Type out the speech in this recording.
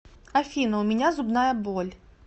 афина у меня зубная боль